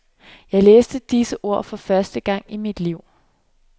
Jeg læste disse ord for første gang i mit liv.